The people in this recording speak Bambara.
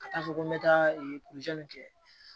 Ka taa fɔ ko n bɛ taa kɛ